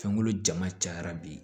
Fɛnkolo jama cayara bi